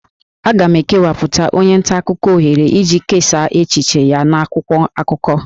A ga-ekewapụtara onye nta akụkọ ohere iji kesaa echiche ya n'akwụkwọ akụkọ